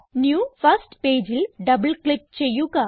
new first pageൽ double click ചെയ്യുക